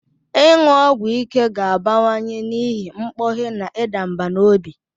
Ịṅụ ọgwụ ike ga-abawanye n'ihi mkpughe na ịda mbà n'obi.